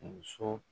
Muso